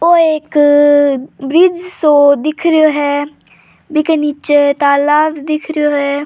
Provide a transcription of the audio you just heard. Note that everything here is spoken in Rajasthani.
ओ एक ब्रिज सो दिख रियो है बि के निचे तालाब दिख रियो है।